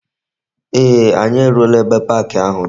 Ee, anyi eruola ebe park ahu di.